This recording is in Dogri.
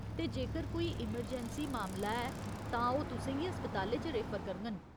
ते जेक्कर कोई इमरजैंसी मामला ऐ तां ओह् तु'सें गी अस्पतालें च रेफर करङन।